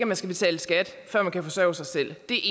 man skal betale skat før man kan forsørge sig selv det